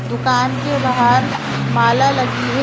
दुकान के बाहर माल लगी है।